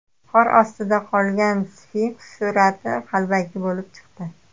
Qor ostida qolgan sfinks surati qalbaki bo‘lib chiqdi.